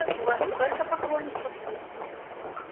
у вас столько поклонников